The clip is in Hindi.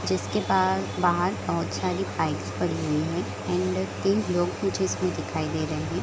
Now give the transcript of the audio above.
जिसके पा बहार बहोत सारी बाइक्स पड़ी हुई है एंड तीन लोग कुछ इसमें लोग दिखाई दे रहे है ।